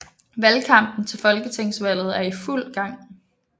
Valgkampen til Folketingsvalget er i fuld gang